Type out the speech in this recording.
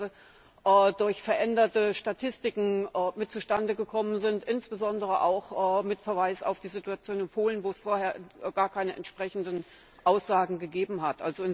auch durch veränderte Statistiken zustande gekommen ist, insbesondere auch mit Verweis auf die Situation in Polen, wo es vorher gar keine entsprechenden Aussagen gegeben hat.